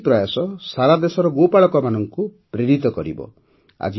ତାଙ୍କର ଏହି ପ୍ରୟାସ ସାରାଦେଶର ଗୋପାଳକମାନଙ୍କୁ ପ୍ରେରିତ କରିବ